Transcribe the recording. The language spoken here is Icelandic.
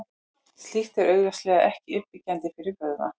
Slíkt er augljóslega ekki uppbyggjandi fyrir vöðva.